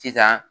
Sisan